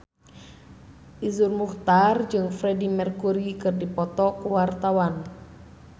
Iszur Muchtar jeung Freedie Mercury keur dipoto ku wartawan